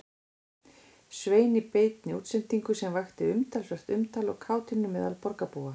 Svein í beinni útsendingu sem vakti talsvert umtal og kátínu meðal borgarbúa.